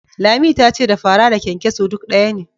Lami ta ce da fara da kyankyaso duk ɗaya ne.